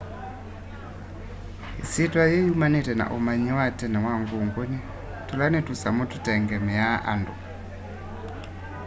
isyîtwa yîî yumanite na umanyi wa tene wa ngûngûni tûla ni tusamu tutengemeaa andu